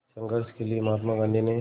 संघर्ष के लिए महात्मा गांधी ने